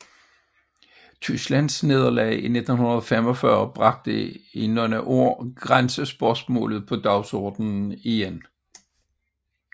Tysklands nederlag i 1945 bragte i nogle år grænsespørgsmålet på dagsordenen igen